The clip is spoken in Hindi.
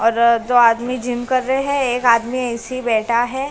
और दो आदमी जिम कर रहे हैं एक आदमी ऐसे ही बैठा है।